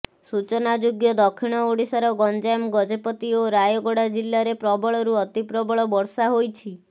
ସୂଚନାଯୋଗ୍ୟ ଦକ୍ଷିଣ ଓଡ଼ିଶାର ଗଞ୍ଜାମ ଗଜପତି ଓ ରାୟଗଡ଼ା ଜିଲ୍ଲାରେ ପ୍ରବଳରୁ ଅତି ପ୍ରବଳ ବର୍ଷା ହୋଇଛି